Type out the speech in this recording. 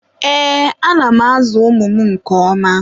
Ee, ana m ázụ̀ ụmụ m nke oma.